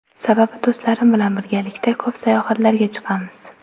Sababi do‘stlarim bilan birgalikda ko‘p sayohatlarga chiqqanmiz.